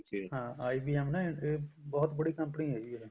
ਹਾਂ IBM ਨਾ ਬਹੁਤ ਬੜੀ company ਆ ਜੀ ਇਹ